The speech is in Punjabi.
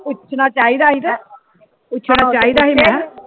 ਪੁਛਣਾ ਚਾਹੀਦਾ